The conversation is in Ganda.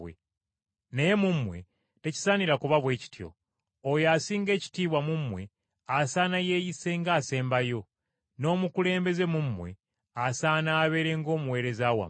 Naye mu mmwe tekisaanira kuba bwe kityo. Oyo asinga ekitiibwa mu mmwe asaana yeeyisenga ng’asembayo, n’omukulembeze mu mmwe asaana abeere ng’omuweereza wammwe.